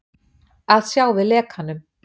Að sjá við lekanum